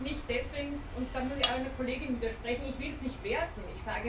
Nicht deswegen und da muss ich einer Kollegin widersprechen weil ich es werten will.